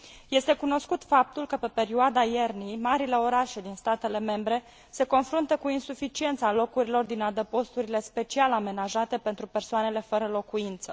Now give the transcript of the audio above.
Este cunoscut faptul că, pe perioada iernii, marile orașe din statele membre se confruntă cu insuficiența locurilor din adăposturile special amenajate pentru persoanele fără locuință.